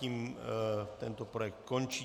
Tím tento projekt končí.